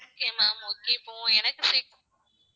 okay ma'am okay இப்போ எனக்கு